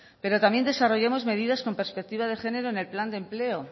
pero también desarrollamos medidas con perspectiva de género en el plan de empleo